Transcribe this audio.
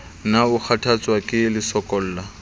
na o kgathatswa ke lesokolla